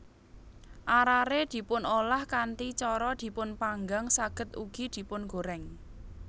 Arare dipunolah kanthi cara dipunpanggang saged ugi dipungoreng